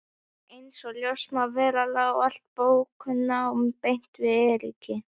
Einsog ljóst má vera lá allt bóknám beint við Eiríki.